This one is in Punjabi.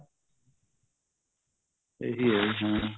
ਇਹੀ ਜੀ ਹਾਂ